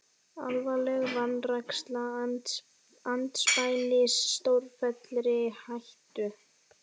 Alvarleg vanræksla andspænis stórfelldri hættu